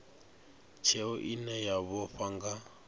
tsheo ine ya vhofha nga